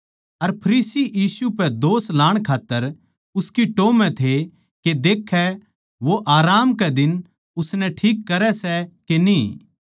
अर फरीसी यीशु पै दोष लाण खात्तर उसकी टाह म्ह थे के देखै वो आराम कै दिन उसनै ठीक करै सै के न्ही